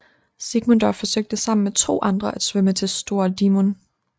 Sigmundur forsøgte sammen med to andre at svømme til Stóra Dímun